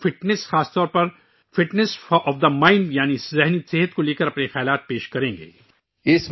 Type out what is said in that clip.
وہ فٹنس، خاص طور پر دماغ کی فٹنس، یعنی دماغی صحت کے حوالے سے اپنے خیالات ساجھا کریں گے